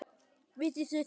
Vita þau það?